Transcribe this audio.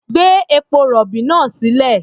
Gbé epo-rọ̀bì náà sílẹ̀.